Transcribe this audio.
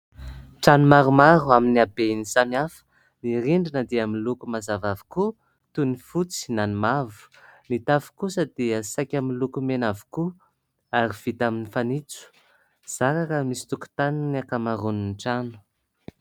Trano maromaro amin'ny habeny samihafa. Ny rindrina dia miloko mazava avokoa toy ny fotsy na ny mavo. Ny tafo kosa dia saika miloko mena avokoa ary vita amin'ny fanitso. Zara raha misy tokotaniny ny ankamaroany ny trano.